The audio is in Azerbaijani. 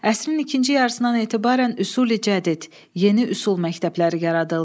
Əsrin ikinci yarısından etibarən Üsul-i Cədid, Yeni Üsul məktəbləri yaradıldı.